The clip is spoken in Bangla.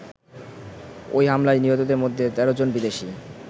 ওই হামলায় নিহতদের মধ্যে ১৩ জন বিদেশী।